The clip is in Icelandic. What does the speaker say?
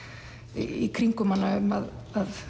í kringum hana um að